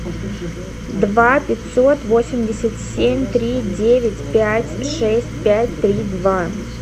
два пятьсот восемьдесят семь три девять пять шесть пять три два